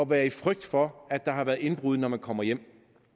være i frygt for at der har været indbrud når man kommer hjem